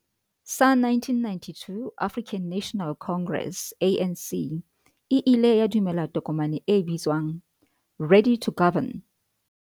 sa 1992, African National Congress, ANC, e ile ya dumela tokomane e bitswang 'Ready to Govern'.